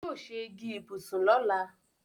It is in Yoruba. Yóò se igi ìbùsùn lọ̀la.